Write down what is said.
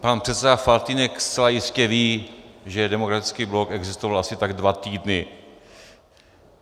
Pan předseda Faltýnek zcela jistě ví, že Demokratický blok existoval asi tak dva týdny.